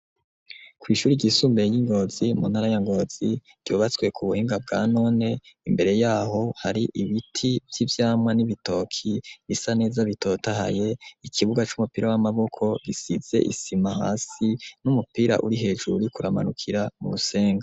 Kwishuri ryisumbuye ryi Ngozi muntara ya Ngozi ryubatswe kubuhinga bwa none Imbere yaho hari ibiti vyivyamwa nibitoki bisa neza bitotahaye Ikibuga c'umupira wamaboko gisize Isima hasi numupira uri hejuru uriko uramanukira kurusenga.